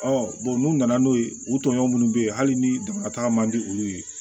n'u nana n'o ye u tɔɲɔgɔnw minnu bɛ yen hali ni dama taga man di olu ye